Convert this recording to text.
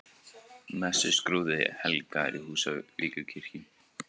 Messuskrúði helgaður í Húsavíkurkirkju